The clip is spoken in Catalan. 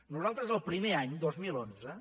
nosaltres el primer any dos mil onze